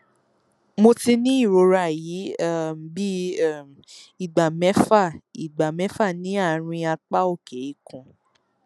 mo ti ní ìrora yìí um bíi um ìgbà mẹfà ìgbà mẹfà ní àárín apá òkè ikùn